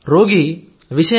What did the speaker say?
రోగి విషయం